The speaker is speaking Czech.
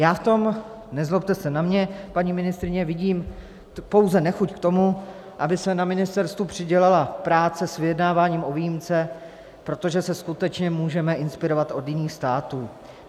Já v tom, nezlobte se na mě, paní ministryně, vidím pouze nechuť k tomu, aby se na ministerstvu přidělala práce s vyjednáváním o výjimce, protože se skutečně můžeme inspirovat od jiných států.